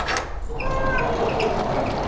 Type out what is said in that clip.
Overall আমি six seven